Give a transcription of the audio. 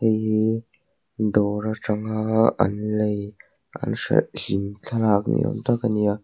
hei hi dawr atanga an lei an hralh hlim thlalak ni awm tak a ni a.